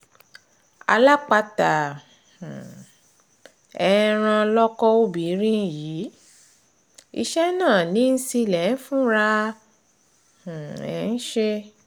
alápatà um ẹran lọkọ obìnrin yìí iṣẹ́ náà ni líńsílẹ̀ fúnra um ẹ̀ ń ṣe